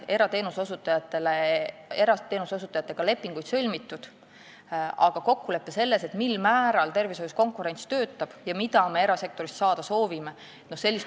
Erateenuse osutajatega on aastaid lepinguid sõlmitud, aga ei ole kokkulepet, sellist ühist arusaama, mil määral konkurents tervishoius töötab ja mida me erasektorilt saada soovime.